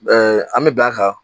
an mi bɛn a a kan